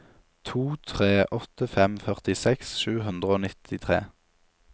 to tre åtte fem førtiseks sju hundre og nittitre